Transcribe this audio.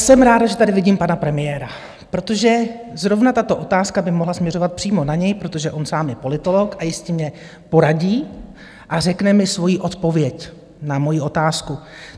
Jsem ráda, že tady vidím pana premiéra, protože zrovna tato otázka by mohla směřovat přímo na něj, protože on sám je politolog a jistě mně poradí a řekne mi svoji odpověď na moji otázku.